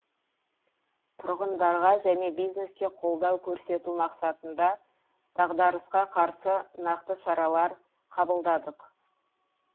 тұрғындарға және бизнеске қолдау көрсету мақсатында дағдарысқа қарсы нақты шаралар қабылдадық